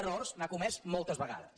rors n’ha comès moltes vegades